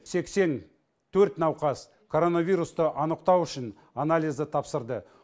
сексен төрт науқас коронавирусты анықтау үшін анализді тапсырды